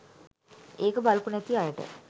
ඒක බලපු නැති අයට.